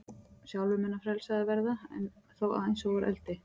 Sjálfur mun hann frelsaður verða, en þó eins og úr eldi.